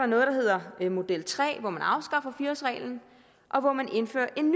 noget der hedder model tre hvor man afskaffer fire årsreglen og hvor man indfører en